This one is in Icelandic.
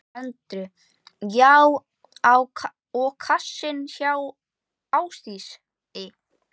Andri: Já og á kassann hjá Ásdísi?